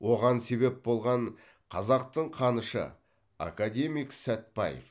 оған себеп болған қазақтың қанышы академик сәтбаев